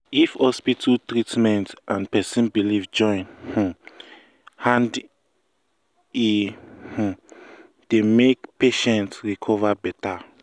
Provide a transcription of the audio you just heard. if hospital treatment and person belief join um hand e um dey make patient um recover better.